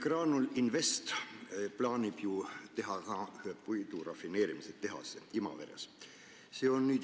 Graanul Invest plaanib teha puidurafineerimistehase ka Imaverre.